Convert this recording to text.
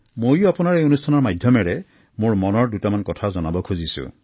মই এই অনুষ্ঠানৰ মাধ্যমেৰে মোৰ মনৰ দুটামান কথা আপোনাক জনাব খুজিছো